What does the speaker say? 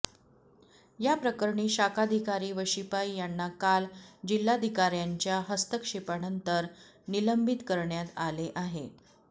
याप्रकरणी शाखाधिकारी व शिपाई यांना काल जिल्हाधिकार्यांच्या हस्तक्षेपानंतर निलंबित करण्यात आले आहे